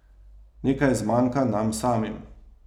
Nekaj zmanjka nam samim.